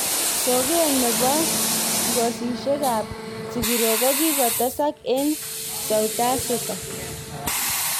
Soket nepo nepo. ngosishek ap.sigiroik kokikotesak eng Soutj Afrika